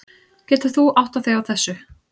Getur þú áttað þig á þessu?